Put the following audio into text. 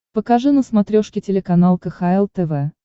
покажи на смотрешке телеканал кхл тв